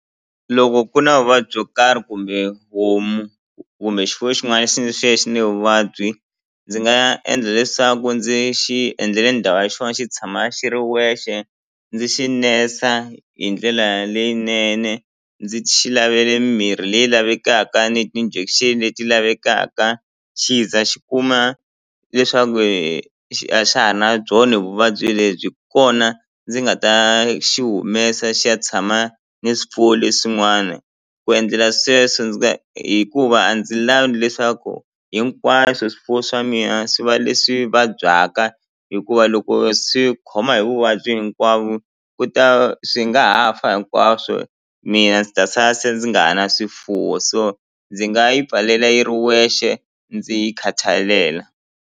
Loko ku na vuvabyi byo karhi kumbe homu kumbe xifuwo xin'wani xi ni vuvabyi ndzi nga endla leswaku ndzi xi endlele ndhawu ya xona xi tshama xi ri wexe ndzi xi nesa hi ndlela leyinene ndzi xi lavele mimirhi leyi lavekaka ni ti-injection leti lavekaka xi za xi kuma leswaku a xa ha na byona vuvabyi lebyi hi kona ndzi nga ta xi humesa xi ya tshama ni swifuwo leswin'wana ku endlela sweswo ndzi hikuva a ndzi lavi leswaku hinkwaswo swifuwo swa mina swi va leswi vabyaka hikuva loko swi khoma hi vuvabyi hinkwavo ku ta va swi nga ha fa hinkwaswo mina ndzi ta sala se ndzi nga ha na swifuwo so ndzi nga yi pfalela yiri wexe ndzi yi khathalela.